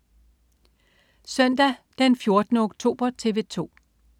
Søndag den 14. oktober - TV 2: